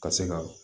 Ka se ka